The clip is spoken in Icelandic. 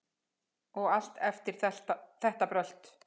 Og eftir allt þetta brölt!